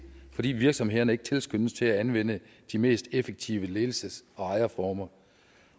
fordi virksomhederne ikke tilskyndes til at anvende de mest effektive ledelses og ejerformer